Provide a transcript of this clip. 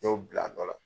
N y'o bila a dɔ la